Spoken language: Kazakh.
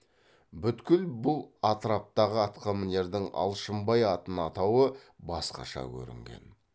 бүткіл бұл атраптағы атқамінердің алшынбай атын атауы басқаша көрінген